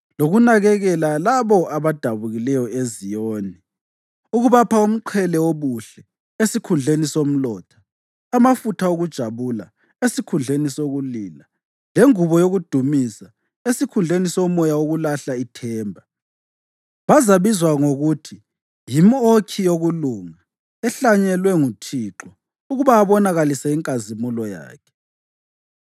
lokunakekela labo abadabukileyo eZiyoni, ukubapha umqhele wobuhle esikhundleni somlotha, amafutha okujabula esikhundleni sokulila, lengubo yokudumisa esikhundleni somoya wokulahla ithemba. Bazabizwa ngokuthi yimʼokhi yokulunga, ehlanyelwe nguThixo ukuba abonakalise inkazimulo yakhe.